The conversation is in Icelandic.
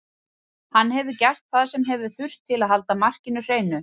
Hann hefur gert það sem hefur þurft til að halda markinu hreinu.